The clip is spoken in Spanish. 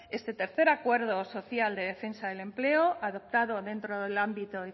este tercer acuerdo social de defensa del empleo adoptado dentro del ámbito